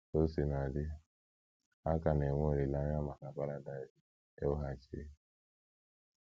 Ka o sina dị, a ka na - enwe olileanya maka paradaịs e weghachiri..